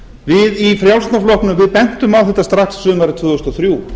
við í frjálslynda flokknum bentum á þetta strax sumarið tvö þúsund og þrjú